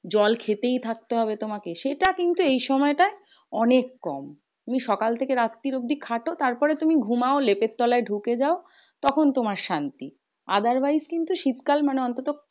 জল খেতেই থাকতে হবে তোমাকে। সেটা কিন্তু এই সময়টা অনেক কম। তুমি সকাল থেকে রাত্রির অব্দি খাটো। তারপরে তুমি ঘুমাও লেপের তলায় ঢুকে যাও তখন তোমার শান্তি। otherwise কিন্তু শীত কাল মানে অন্তত